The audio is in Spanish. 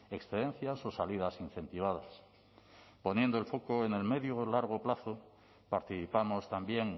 excedencias o salidas incentivadas poniendo el foco en el medio o el largo participamos también